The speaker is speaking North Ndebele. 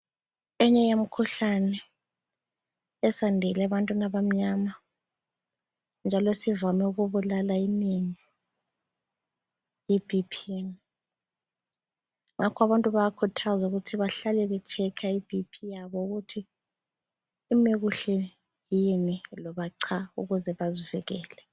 Eyinye yemikhuhlane esiyandile ebantwini abamyama njalo esivame ukubulala inengi yiBP.Ngakho abantu bayakhuthazwa ukuthi behlale bechecker iBP yabo ukuthi imi kuhle yini loba cha ukuze bazivikele.